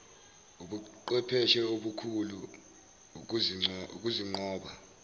ubuqhwepheshe obukhulu ukuzinqoba